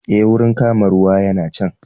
Eh, wurin kama ruwa yana can